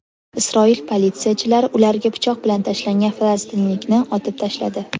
Isroil politsiyachilari ularga pichoq bilan tashlangan falastinlikni otib tashladi.